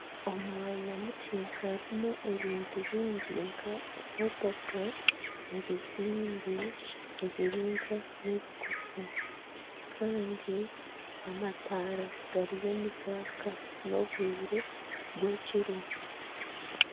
Omu mwanya mukye harumu ebintu byingi nka emotoka, ebizimbe ebiringwa na ebigufu Kandi amatara gariyo nigaaka n'obwire bw'ekiro.